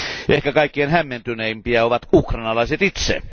Ehkä kaikkein hämmentyneimpiä ovat ukrainalaiset itse.